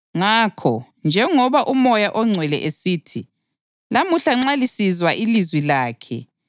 Ngakho, njengoba uMoya oNgcwele esithi: “Lamuhla nxa lisizwa ilizwi lakhe,